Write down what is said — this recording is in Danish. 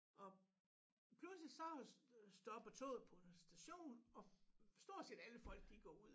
Og pludselig så stopper toget på en station og stort set alle folk de går ud